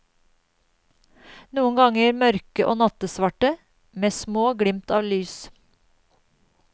Noen ganger mørke og nattesvarte, med små glimt av lys.